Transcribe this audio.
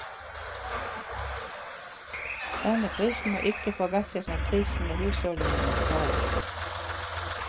Denne prisen må ikke forveksles med prisene husholdningene betaler.